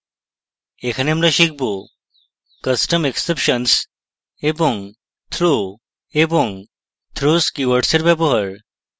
এখানে আমরা শিখব: custom exceptions এবং throw এবং throws keywords in ব্যবহার